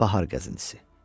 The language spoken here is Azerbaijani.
Bahar gəzintisi.